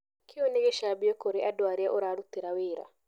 Kĩu nĩ gĩcambio kũrĩ andũ arĩa ũrarutĩra wĩra.